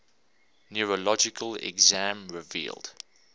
neurologic exam revealed